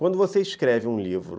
Quando você escreve um livro,